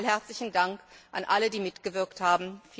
Noch einmal herzlichen Dank an alle, die mitgewirkt haben!